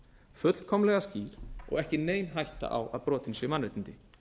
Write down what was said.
fullkomlega skýr og ekki nein hætta á að brotin séu mannréttindi